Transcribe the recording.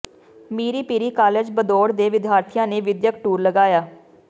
ਮੀਰੀ Piri college Bhadaur ਦੇ ਵਿਦਿਆਰਥੀਆਂ ਨੇ ਵਿੱਦਿਅਕ ਟੁੂਰ ਲਗਾਇਆ